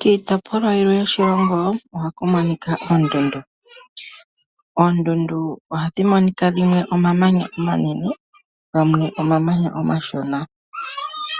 Kiitopolwa yilwe yoshilongo ohaku monika. Oondundu ohadhi monika dhimwe omamanya omanene gamwe omamanya omashona